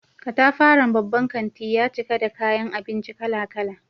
Katafaren babban kanti ya cika da kayan abinci kala-kala.